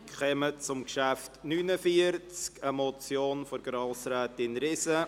Wir kommen zum Traktandum 49 und damit zur Motion von Grossrätin Riesen.